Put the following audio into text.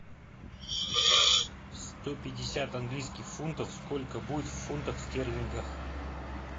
сто пятьдесят английских фунтов сколько будет в фунтах стерлингах